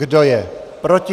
Kdo je proti?